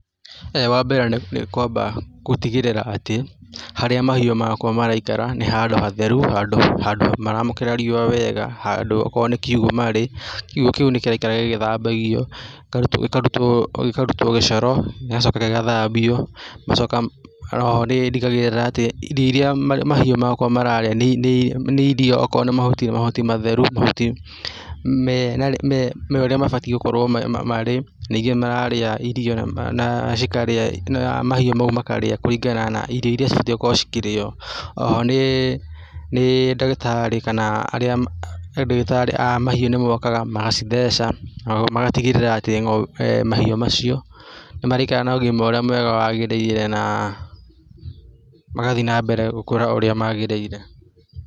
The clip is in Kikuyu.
Wa mbere nĩ kwamba gũtigĩrĩra atĩ, harĩa mahiũ makwa maraikara nĩ handũ hatheru, handũ maramũkĩra riũa wega, handũ okorwo nĩ kiugũ marĩ, kiugũ kĩu nĩ kĩraikara gĩgĩthambagio, gĩkarutwo gĩcoro, gĩgacoka gĩgathambio, ngacoka o ho nĩndigagĩrĩra atĩ irio iria mahiũ makwa mararĩa nĩ irio. Okorwo nĩ mahuti nĩ matheru nĩ mahuti me ũrĩa mabatiĩ gũkorwo marĩ, ningĩ mararĩa irio na cikarĩa na mahiũ mau makarĩa kũringana na irio iria cibatiĩ gũkorwo ikĩrĩo. O ho nĩ ndagĩtari kana arĩa, he ndagĩtarĩ a mahiũ nĩmokaga magacitheca, magatigĩrĩra atĩ mahiũ macio nĩ maraikaraga na ũgima ũrĩa mwega wagĩrĩire na magathiĩ na mbere gũkũra ũrĩa magĩrĩire.